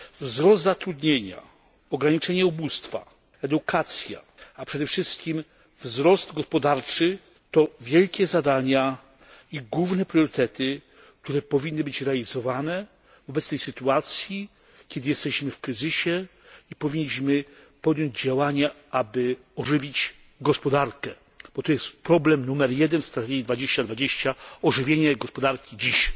Wzrost zatrudnienia, ograniczenie ubóstwa, edukacja, a przede wszystkim wzrost gospodarczy to wielkie zadania i główne priorytety, które powinny być realizowane w obecnej sytuacji, kiedy jesteśmy w kryzysie i powinniśmy podjąć działania, aby ożywić gospodarkę bo to jest problem numer jeden w strategii Europa 2020 ożywienie gospodarki dziś.